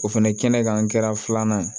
O fɛnɛ ye kɛnɛkan filanan ye